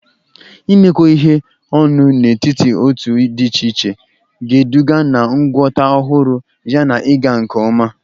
Imekọ ihe ọnụ n'etiti otu dị iche iche ga-eduga na ngwọta ọhụrụ yana ịga nke ọma.